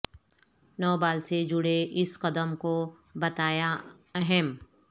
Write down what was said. نو بال سے جڑے اس قدم کو بتایا اہم